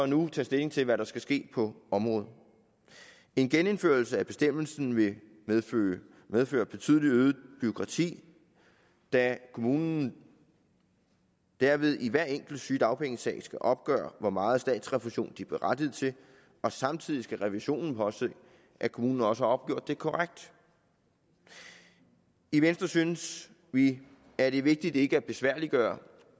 nu tage stilling til hvad der skal ske på området en genindførelse af bestemmelsen vil medføre medføre betydelig øget bureaukrati da kommunen derved i hver enkelt sygedagpengesag skal opgøre hvor meget statsrefusion de er berettiget til og samtidig skal revisionen påse at kommunen også har opgjort det korrekt i i venstre synes vi at det er vigtigt ikke at besværliggøre